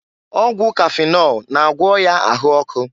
Ọgwụ kafịnọl na-agwọ ọya ahụ ọkụ.